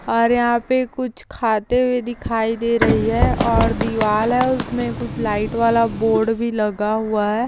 और यहा पे कुछ खाते हुए दिखाई दे रही है और दीवाल है उसमे कुछ लाइट वाला बोर्ड भी लगा हुआ है।